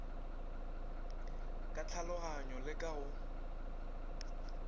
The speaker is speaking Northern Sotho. ka tlhaloganyo le ka go